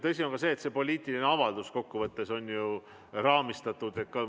Tõsi on ka see, et see poliitiline avaldus kokkuvõttes on raamistatud.